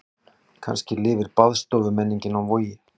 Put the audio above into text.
Kannski lifir baðstofumenningin á Vogi.